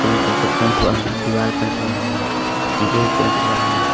Pink colour का paint हुआ है दीवाल पेंट हुआ है नीचे भी पेंट हुआ है।